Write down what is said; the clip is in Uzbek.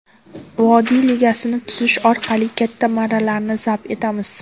Vodiy ligasini tuzish orqali katta marralarni zabt etamiz.